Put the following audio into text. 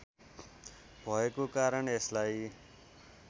भएको कारण यसलाई